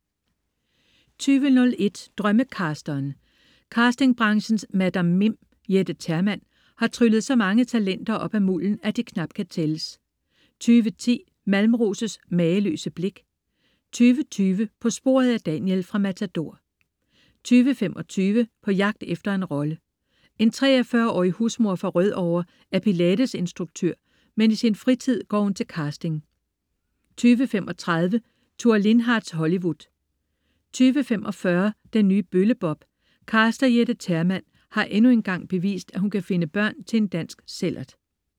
20.01 Drømmecasteren. Casting-branchens Madam Mim, Jette Termann, har tryllet så mange talenter op af mulden, at de knap kan tælles 20.10 Malmros' mageløse blik 20.20 På sporet af Daniel fra "Matador" 20.25 På jagt efter en rolle. En 43-årig husmor fra Rødovre er pilates-instruktør, men i sin fritid går hun til casting 20.35 Thure Lindhardts Hollywood 20.45 Den nye Bølle Bob. Caster Jette Termann har endnu engang bevist, at hun kan finde børn til en dansk sællert